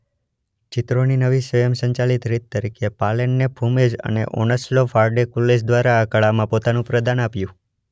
ચિત્રોની નવી સ્વયંસંચાલિત રીત તરીકે પાલેનને ફુમેઝ અને ઓનસ્લો ફાર્ડે કુલેજ દ્વારા આ કળામાં પોતાનું પ્રદાન આપ્યું.